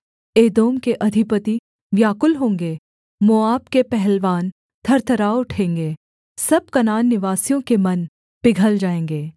एदोम के अधिपति व्याकुल होंगे मोआब के पहलवान थरथरा उठेंगे सब कनान निवासियों के मन पिघल जाएँगे